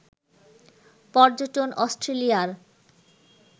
পর্যটন অস্ট্রেলিয়ার